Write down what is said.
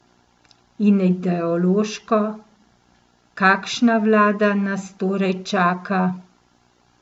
In ideološko, kakšna vlada nas torej čaka?